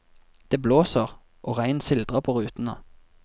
Det blåser, og regn sildrer på rutene.